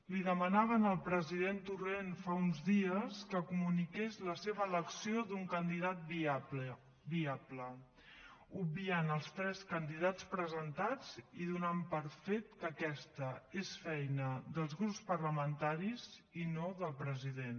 li demanaven al president torrent fa uns dies que comuniqués la seva elecció d’un candidat viable obviant els tres candidats presentats i donant per fet que aquesta és feina dels grups parlamentaris i no del president